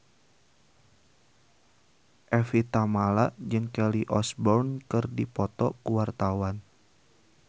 Evie Tamala jeung Kelly Osbourne keur dipoto ku wartawan